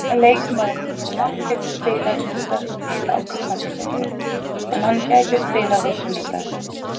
Leikmaðurinn hefur ekkert spilað hingað til á tímabilinu en hann gæti spilað á sunnudag.